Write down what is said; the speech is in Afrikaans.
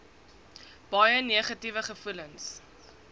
baie negatiewe gevoelens